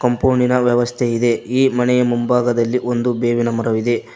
ಕಂಪೌಂಡಿನ ವ್ಯವಸ್ಥೆ ಇದೆ ಈ ಮನೆಯ ಮುಂಭಾಗದಲ್ಲಿ ಒಂದು ಬೇವಿನ ಮರವಿದೆ.